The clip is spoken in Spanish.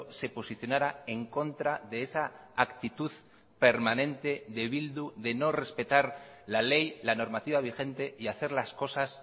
se posicionara en contra de esa actitud permanente de bildu de no respetar la ley la normativa vigente y hacer las cosas